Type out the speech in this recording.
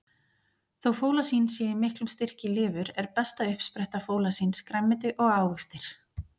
Þó fólasín sé í miklum styrk í lifur, er besta uppspretta fólasíns grænmeti og ávextir.